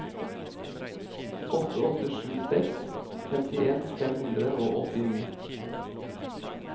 åtte åtte sju seks femtien fem hundre og åttini